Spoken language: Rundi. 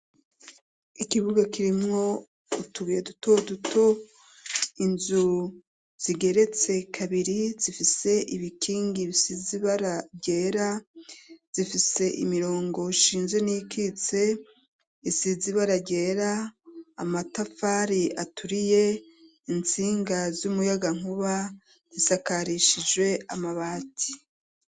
Ikibuga kirimwo utubuye duto duto inzu zigeretse kabiri zifise ibikingi bisizibara ryera zifise imirongo shinje n'ikitse isizibara ryera amatafari aturiye intsinge ngazi umuyaga nkuba isakarishije amabati.